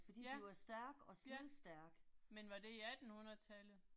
Ja, ja. Men var det i 1800-tallet?